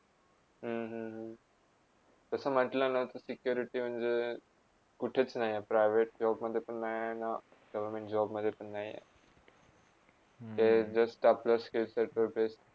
हम्म हम्म तसा म्हटलाना ते security म्हणजे कुठेच नाही private job मध्ये पण नाही आहे ना, government job मध्ये पण नाही आहे , ते just आपल्या SKILL वर based